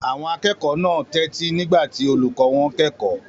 Àwọn akẹ́kọ̀ọ́ náà tẹ́tí nígbà tí olùkọ́ wọn kẹ́kọ̀ọ́.